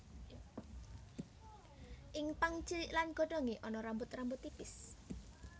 Ing pang cilik lan godhongé ana rambut rambut tipis